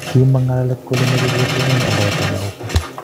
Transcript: kimong'u ng'alalet kele mochei ketonon aldaetab muguka